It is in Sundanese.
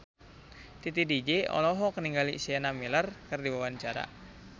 Titi DJ olohok ningali Sienna Miller keur diwawancara